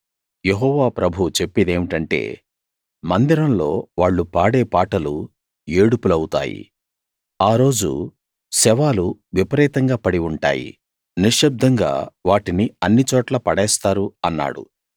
యెహోవా ప్రభువు చెప్పేదేమిటంటే మందిరంలో వాళ్ళు పాడే పాటలు ఏడుపులవుతాయి ఆ రోజు శవాలు విపరీతంగా పడి ఉంటాయి నిశ్శబ్దంగా వాటిని అన్ని చోట్లా పడేస్తారు అన్నాడు